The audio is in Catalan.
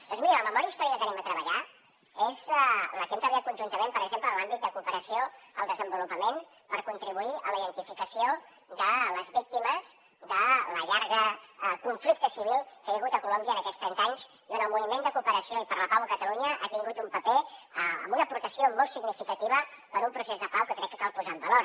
doncs miri la memòria històrica que treballarem és la que hem treballat conjuntament per exemple en l’àmbit de cooperació al desenvolupament per contribuir a la identificació de les víctimes del llarg conflicte civil que hi ha hagut a colòmbia en aquests trenta anys i on el moviment de cooperació i per la pau a catalunya ha tingut un paper amb una aportació molt significativa per a un procés de pau que crec que cal posar en valor